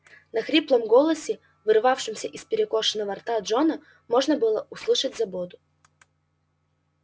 в хриплом голосе вырывавшемся из перекошенного рта джона можно было услышать заботу